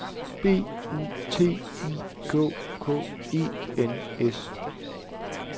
B U T I K K E N S